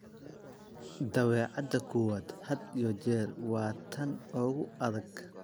"Dabeecadda koowaad had iyo jeer waa tan ugu adag."